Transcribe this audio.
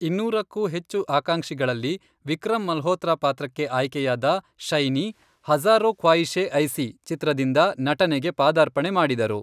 ಇನ್ನೂರಕ್ಕೂ ಹೆಚ್ಚು ಆಕಾಂಕ್ಷಿಗಳಲ್ಲಿ ವಿಕ್ರಮ್ ಮಲ್ಹೋತ್ರ ಪಾತ್ರಕ್ಕೆ ಆಯ್ಕೆಯಾದ ಶೈನಿ ಹಜಾರೋ ಖ್ವಾಯಿಷೇ ಐಸಿ ಚಿತ್ರದಿಂದ ನಟನೆಗೆ ಪಾದಾರ್ಪಣೆ ಮಾಡಿದರು.